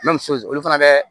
olu fana bɛ